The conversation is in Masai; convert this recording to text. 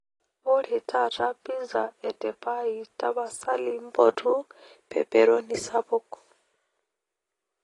ore taata pizza etepai tapasali mpotu pepperoni sapuk